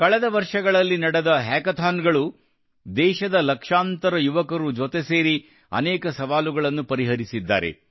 ಕಳೆದ ವರ್ಷಗಳಲ್ಲಿ ನಡೆದ ಒಂದು ಹ್ಯಾಕಥಾನ್ಸ್ ದೇಶದ ಲಕ್ಷಾಂತರ ಯುವಕರು ಜೊತೆಗೂಡಿ ಅನೇಕ ಸವಾಲುಗಳನ್ನು ಪರಿಹರಿಸಿದ್ದಾರೆ